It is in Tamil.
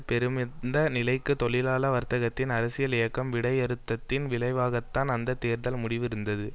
பெருமந்த நிலைக்கு தொழிலாள வர்க்கத்தின் அரசியல் இயக்கம் விடையறுத்ததின் விளைவாகத்தான் அந்த தேர்தல் முடிவு இருந்தது